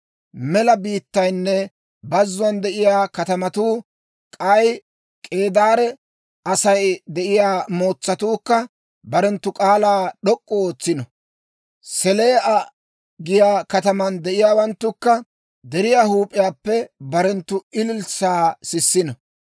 Mela biittaynne bazzuwaan de'iyaa katamatuu, k'ay K'eedaare Asay de'iyaa mootsatuukka, barenttu k'aalaa d'ok'k'u ootsino. Selaa'a giyaa kataman de'iyaawanttukka, deriyaa huup'iyaappe barenttu ililssaa sissino.